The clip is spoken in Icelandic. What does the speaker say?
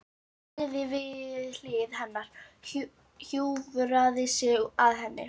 Hann lagðist við hlið hennar, hjúfraði sig að henni.